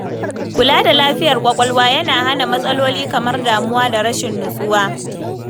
Kula da lafiyar kwakwalwa yana hana matsaloli kamar damuwa da rashin nutsuwa.